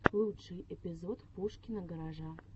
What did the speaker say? лучший эпизод пушкина гаража